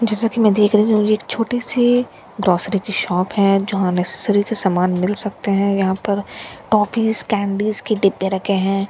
जैसा कि मैं देख रही थी यह एक छोटी सी ग्रॉसरी की शॉप है जहां नेसेसरी के सामान मिल सकते हैं यहां पर टॉफिस कैंडिस के डिब्बे रखे हैं।